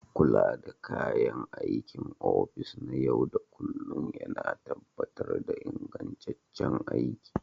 Kula da kayan aikin ofis na yau da kullun yana tabbatar da ingantaccen aiki.